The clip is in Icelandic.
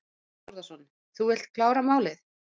Þorbjörn Þórðarson: Þú vilt klára málið?